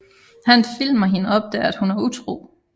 Han filmer hende og opdager at hun er ham utro